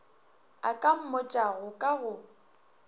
a ka mmotšago ka go